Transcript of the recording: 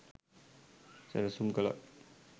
සැලසුම් කලත්